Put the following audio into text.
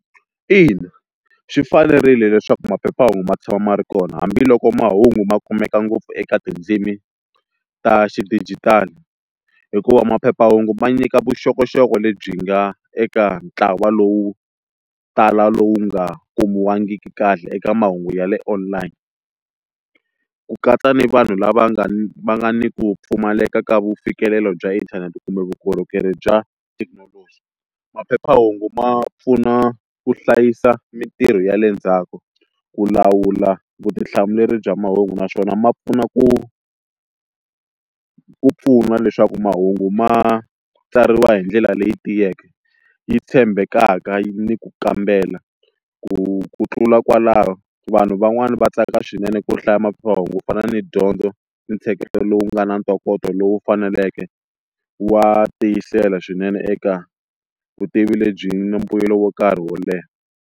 Ina swi fanerile leswaku maphephahungu ma tshama ma ri kona hambiloko mahungu ma kumeka ngopfu eka tindzimi ta xidijitali hikuva maphephahungu ma nyika vuxokoxoko lebyi nga eka ntlawa lowu tala lowu nga kumiwangiki kahle eka mahungu ya le online ku katsa ni vanhu lava nga va ni ku pfumaleka ka vufikelelo bya inthanete kumbe vukorhokeri bya thekinoloji, maphephahungu ma pfuna ku hlayisa mintirho ya le ndzhaku ku lawula vutihlamuleri bya mahungu naswona ma pfuna ku ku pfuna leswaku mahungu ma tsariwa hindlela leyi tiyeke yi tshembekaka ni ku kambela ku ku tlula kwalaho vanhu van'wani va tsaka swinene ku hlaya maphephahungu ku fana ni dyondzo ni ntsheketo lowu nga na ntokoto lowu faneleke wa tiyisela swinene eka vutivi lebyi ni mbuyelo wo nkarhi wo leha.